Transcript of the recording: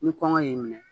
Ni kɔngɔ y'i minɛ